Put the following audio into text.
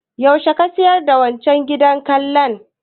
Yaushe ka sayar da wancan gidan lakan?